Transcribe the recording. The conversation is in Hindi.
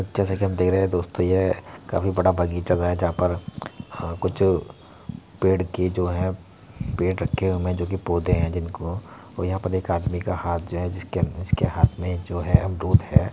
जैसा कि आप देख रहे हैं दोस्तों यह काफी बड़ा बगीचा है जहाँ पर अ कुछ पेड़ की जो है पेड़ अटके हुए है जो कि पौधे हैं जिनको और यहाँ पर एक आदमी का हाथ जो है जिसके जिसके हाथ में जो है अमरूद है।